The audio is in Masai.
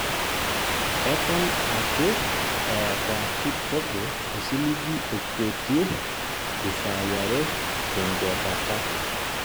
Eton aake eeta Kipchoge osiligi okwetie isaai are te nkwetata